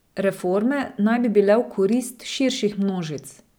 Reforme naj bi bile v korist širših množic.